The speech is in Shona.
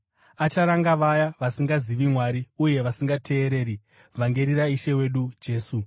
Acharanga vaya vasingazivi Mwari uye vasingateereri vhangeri raIshe wedu Jesu.